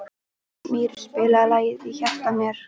Mír, spilaðu lagið „Í hjarta mér“.